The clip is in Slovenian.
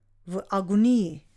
V agoniji.